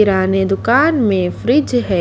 किराने दुकान में फ्रिज है।